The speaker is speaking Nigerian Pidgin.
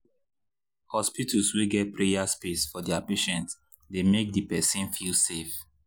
aswear[um]hospitals wey get prayer space for their patients dey make the person feel safe